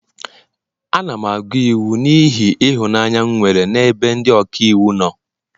Ana m agụ iwu n'ihi ịhụnanya m nwere n'ebe ndị ọka iwu nọ